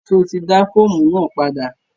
Ṣo ti dá fọ́ọ̀mù náà padà?